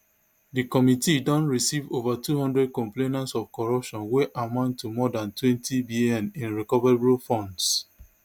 di committee don receive ova two hundred complaints of corruption wey amount to more dan twentybn in recoverable funds